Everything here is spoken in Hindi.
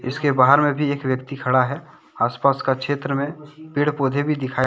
इसके बाहर में भी एक व्यक्ति खड़ा है आसपास का क्षेत्र में पेड़ पौधे भी दिखाई--